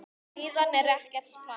Síðan er ekkert planað.